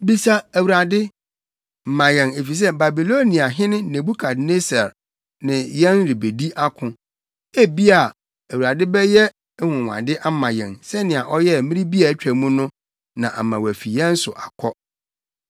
“Bisa Awurade, ma yɛn efisɛ Babiloniahene Nebukadnessar ne yɛn rebedi ako. Ebia Awurade bɛyɛ anwonwade ama yɛn, sɛnea ɔyɛɛ mmere bi a atwa mu no na ama wafi yɛn so akɔ.”